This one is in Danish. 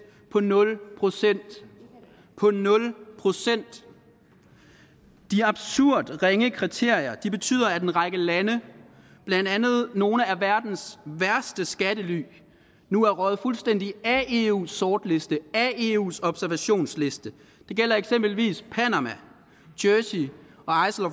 på nul procent nul procent de absurd ringe kriterier betyder at en række lande blandt andet nogle af verdens værste skattely nu er røget fuldstændig af eus sortliste af eus observationsliste det gælder eksempelvis panama jersey